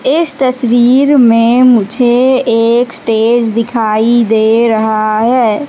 इस तस्वीर में मुझे एक स्टेज दिखाई दे रहा है।